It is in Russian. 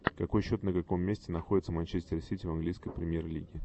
какой счет на каком месте находится манчестер сити в английской премьер лиги